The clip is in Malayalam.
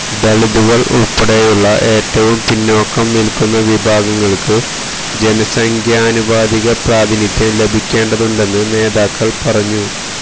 ദലിതുകള് ഉള്പ്പെടെയുള്ള ഏറ്റവും പിന്നാക്കം നില്ക്കുന്ന വിഭാഗങ്ങള്ക്ക് ജനസംഖ്യാനുപാതിക പ്രാതിനിധ്യം ലഭിക്കേണ്ടതുണ്ടെന്ന് നേതാക്കള് പറഞ്ഞു